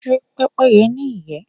Ṣé Pẹ́pẹ́yẹ́ ní ìyẹ́?